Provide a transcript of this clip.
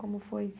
Como foi?